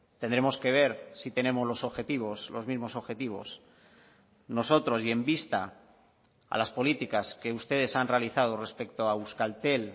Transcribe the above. tendremos que ver si tenemos los objetivos los mismos objetivos nosotros y en vista a las políticas que ustedes han realizado respecto a euskaltel